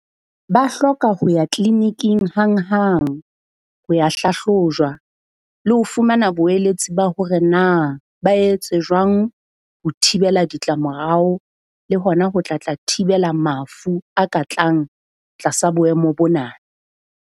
Ba hloka ho ya clinic-ing hang hang, ho ya hlahlojwa, le ho fumana boeletsi ba hore na ba etse jwang ho thibela ditla morao, le hona ho tla tla thibela mafu a ka tlang tlasa boemo bona.